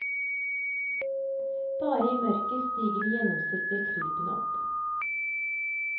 Bare i mørket stiger de gjennomsiktige krypene opp.